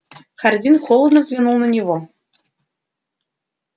хардин холодно взглянул на него